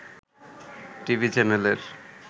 TV চ্যানেলের